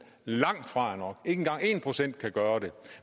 langtfra er nok engang en procent kan gøre det